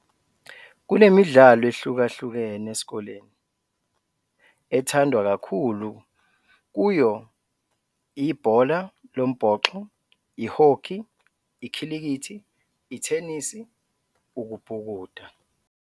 Kunemidlalo ehlukahlukene esikole, ethandwa kakhulu kuyo- ibhola lombhoxo, ihokhi, ikhilikithi, ithenisi, ukubhukuda.